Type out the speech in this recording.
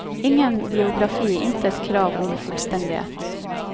Ingen biografi, intet krav om fullstendighet.